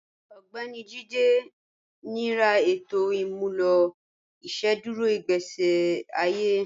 Ọgbẹ̀ni Jíde ní rà ètò imúlọ̀ ìṣẹ̀dúrò igbésí àye